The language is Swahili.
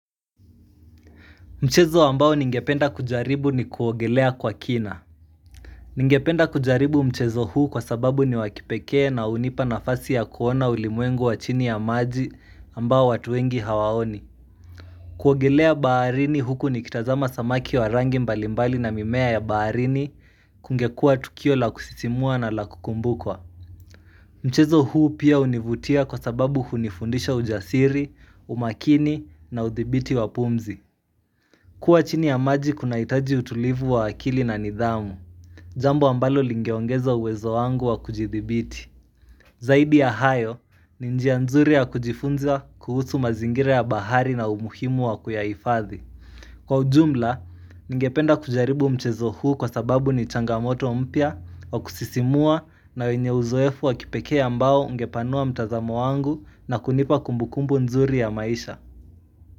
Mchezo ambao ningependa kujaribu ni kuogelea kwa kina Ningependa kujaribu mchezo huu kwa sababu ni wakipekee na hunipa nafasi ya kuona ulimwengo wa chini ya maji ambao watu wengi hawaoni kuogelea baharini huku ni kitazama samaki wa rangi mbalimbali na mimea ya baharini kungekua tukio la kusisimua na la kukumbukwa Mchezo huu pia univutia kwa sababu hunifundisha ujasiri, umakini na uthibiti wa pumzi kuwa chini ya maji kuna hitaji utulivu wa akili na nidhamu, jambo ambalo lingeongeza uwezo wangu wa kujithibiti. Zaidi ya hayo, ni njia nzuri ya kujifunza kuhusu mazingira ya bahari na umuhimu wa kuyaifathi. Kwa ujumla, ningependa kujaribu mchezo huu kwa sababu ni changamoto mpya wa kusisimua na wenye uzoefu wa kipekea mbao ungepanua mtazamo wangu na kunipa kumbukumbu nzuri ya maisha.